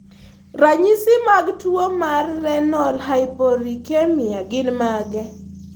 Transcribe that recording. Ranyisi mag tuo mar Renal hypouricemia gin mage?